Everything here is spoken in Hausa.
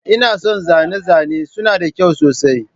Ina son zane-zane suna da kyau sosai.